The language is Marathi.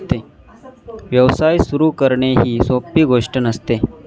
व्यवसाय सुरू करणे ही सोपी गोष्टी नसते.